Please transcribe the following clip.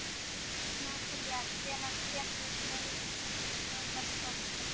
Natalía, hvenær kemur leið númer tólf?